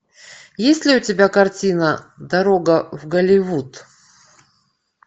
есть ли у тебя картина дорога в голливуд